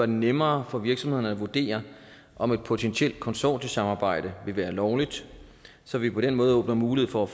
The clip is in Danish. nemmere for virksomhederne at vurdere om et potentielt konsortiesamarbejde vil være lovligt så vi på den måde åbner mulighed for at